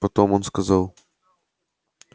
потом он сказал